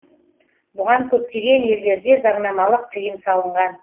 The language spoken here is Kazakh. бұған көптеген елдерде заңнамалық тыйым салынған